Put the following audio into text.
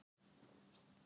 Amma var steinhissa.